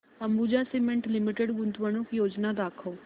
Ambuja cement limited गुंतवणूक योजना दाखव